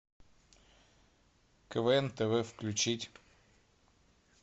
квн тв включить